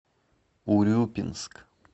урюпинск